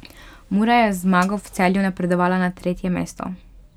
Mura je z zmago v Celju napredovala na tretje mesto.